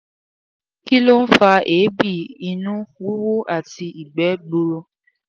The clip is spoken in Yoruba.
kí ló ń fa eebi ìnu wuwu àti igbe gbuuru?